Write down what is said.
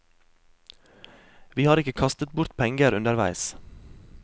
Vi har ikke kastet bort penger underveis.